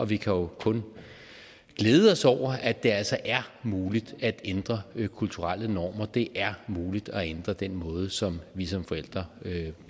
vi kan jo kun glæde os over at det altså er muligt at ændre kulturelle normer det er muligt at ændre den måde som vi som forældre